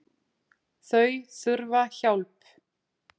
Þau þurfa hjálp